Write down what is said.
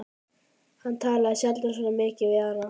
Hann talaði sjaldan svona mikið við hana.